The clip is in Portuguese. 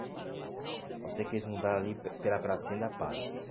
Eu sei que eles mudaram ali pe pela Pracinha da Paz.